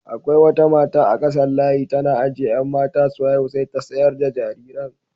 Akwai wata mata a kasan layi tana ajiye 'yan mata su haihu sai ta sayar da jariran.